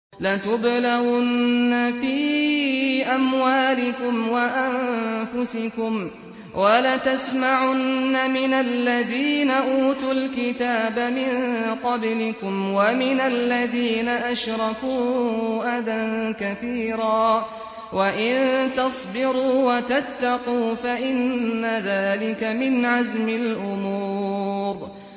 ۞ لَتُبْلَوُنَّ فِي أَمْوَالِكُمْ وَأَنفُسِكُمْ وَلَتَسْمَعُنَّ مِنَ الَّذِينَ أُوتُوا الْكِتَابَ مِن قَبْلِكُمْ وَمِنَ الَّذِينَ أَشْرَكُوا أَذًى كَثِيرًا ۚ وَإِن تَصْبِرُوا وَتَتَّقُوا فَإِنَّ ذَٰلِكَ مِنْ عَزْمِ الْأُمُورِ